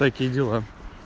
такие дела